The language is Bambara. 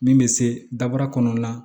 Min bɛ se daba kɔnɔna na